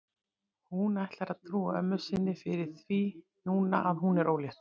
Hún ætlar að trúa ömmu sinni fyrir því núna að hún sé ólétt.